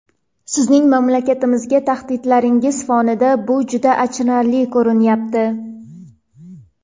sizning mamlakatimizga tahdidlaringiz fonida bu juda achinarli ko‘rinyapti..